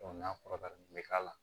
n'a kɔrɔbayara nin bɛ k'a la